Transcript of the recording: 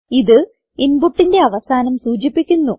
ഇത് ഇൻപുട്ടിന്റെ അവസാനം സൂചിപ്പിക്കുന്നു